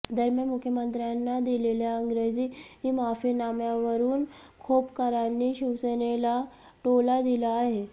दरम्यान मुख्यमंत्र्यांना दिलेल्या इंग्रजी माफीनाम्यावरुन खोपकरांनी शिवसेनेला टोला दिला आहे